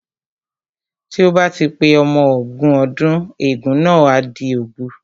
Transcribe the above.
Tí ó bá ti pé ọmọ ogún ọdún ègún náà á di òbu